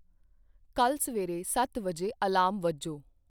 ਕੱਲ ਸਵੇਰੇ ਸੱਤ ਵਜੇ ਅਲਾਰਮ ਵੱਜੋ